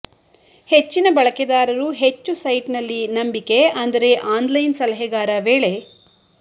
ಹೆಚ್ಚಿನ ಬಳಕೆದಾರರು ಹೆಚ್ಚು ಸೈಟ್ನಲ್ಲಿ ನಂಬಿಕೆ ಅಂದರೆ ಆನ್ಲೈನ್ ಸಲಹೆಗಾರ ವೇಳೆ